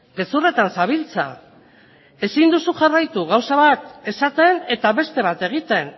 gezurretan zabiltza ezin duzu jarraitu gauza bat esaten eta beste bat egiten